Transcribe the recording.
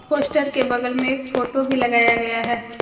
Poster के बगल में एक फोटो भी लगाया गया है।